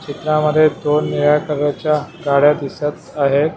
चित्रा मध्ये दोन निळ्या कलरच्या गाड्या दिसत आहेत.